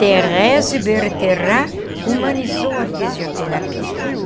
Therese Bertherat humanizou a fisioterapia.